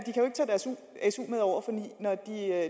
når de er